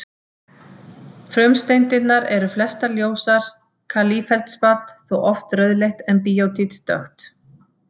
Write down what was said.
Frumsteindirnar eru flestar ljósar, kalífeldspat þó oft rauðleitt en bíótít dökkt.